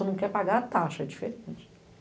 O senhor não quer pagar a taxa, é diferente.